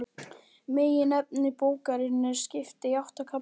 Meginefni bókarinnar er skipt í átta kafla.